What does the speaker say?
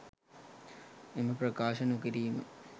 එම ප්‍රකාශ නොකිරීම